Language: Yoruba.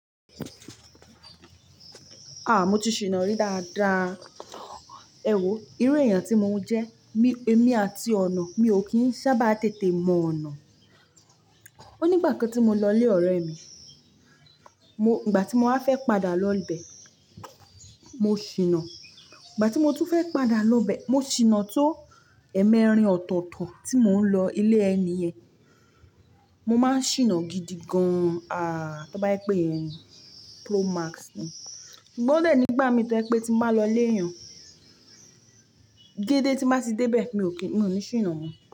Ah! Mo ti ṣìnà-rí dáadáa. Èwo, irú èèyàn tí mo ń jẹ́, mi-- èmi àti ọ̀nà mi ò kí ń sábà tètè mọ ọ̀nà. Ó nígbà kan tí mo lọ ilé ọ̀rẹ́ mi, mo-- ìgbà tí mo wá fẹ́ padà lọ bẹ, mo ṣìnà. Ìgbà tí mo tún fẹ́ padà lọ bẹ, mo ṣìnà tó ẹ̀ẹ̀mẹrin ọ̀tọ̀tọ̀ tí mò ń lọ ilé ẹni yẹn. Mo má ń ṣìnà gidi gan-an, àh! Tí wọ́n bá yé pè ẹni, pro max ni. Ṣùgbọ́n o dẹ́ẹ̀ nígbà mi tẹ́ ẹ̀ pé tí mo bá lọ léyàn, dédé tí má sì dé bẹ́ẹ̀ mi ò kí, mi ò ní ṣìnà mọ́